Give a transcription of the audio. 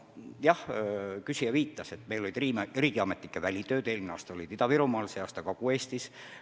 Jah, küsija viitas, et meil olid riigiametnike n-ö välitööd, eelmine aasta olid need Ida-Virumaal, see aasta Kagu-Eestis.